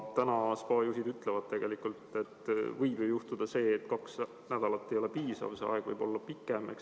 Spaade juhid ütlevad, et tegelikult võib juhtuda see, et kaks nädalat ei ole piisav, see aeg võib olla pikem.